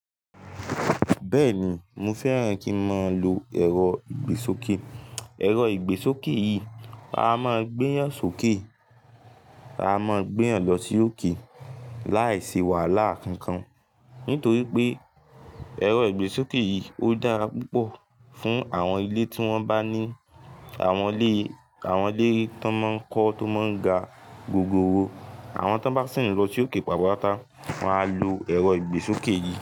Bẹ́ẹ̀ni, mo fẹ́ràn kí ń máa lo ẹ̀rọ ìgbésókè. Ẹ̀rọ ìgbésókè yìí a máa gbé yàn sókè, a máa gbé yàn lọ sí òkè láìsí wàhálà kankan. Nítorí pé ẹ̀rọ ìgbésókè yìí ó dára púpọ̀ fún àwọn ilé tí wọ́n bá ní àwọn ilé, àwọn ilé tí wọ́n máa ń kọ́, tó máa ń ga gogoro. Àwọn tí wọ́n bá ṣì ń lọ sí òkè pàtápàtá, wọ́n á lo ẹ̀rọ ìgbésókè yìí.